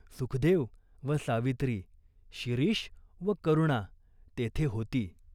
सुखदेव व सावित्री, शिरीष व करुणा तेथे होती.